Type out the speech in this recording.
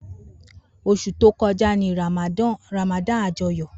Osu to koja ni Ramadan ajoyo.